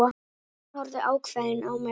Konan horfði ákveðin á mig.